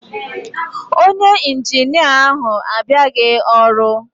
Onye Injinia ahu abịaghị ọrụ.